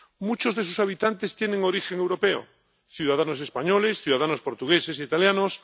Muchos de sus habitantes tienen origen europeo ciudadanos españoles, ciudadanos portugueses, italianos